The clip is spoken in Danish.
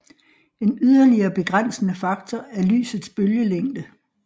En yderligere begrænsende faktor er lysets bølgelængde